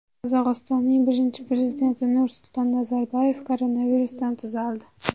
Qozog‘istonning birinchi prezidenti Nursulton Nazarboyev koronavirusdan tuzaldi.